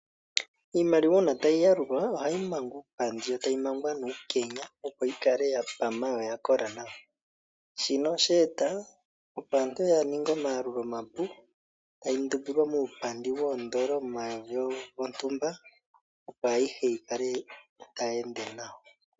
Iimaliwa uuna tayi yalulwa ohayi mangwa muupandi nuukenya opo yi kale yapama yo oyakola nawa, shino osheeta opo aantu yaninge omayalulo omapu tayi ndumbilwa muupandi noondoloma dhontumba opo ayihe yi kale tayi ende nawa.